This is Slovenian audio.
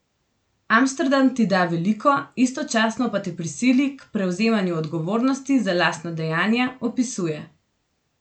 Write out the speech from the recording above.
Amsterdam ti da veliko, istočasno pa te prisili k prevzemanju odgovornosti za lastna dejanja, opisuje.